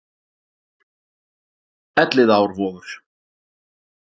elliðaárvogur